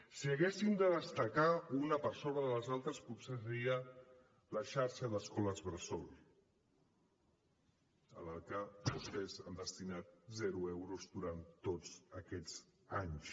si haguéssim de destacar una per sobre de les altres potser seria la xarxa d’escoles bressol a la qual vostès han destinat zero euros durant tots aquests anys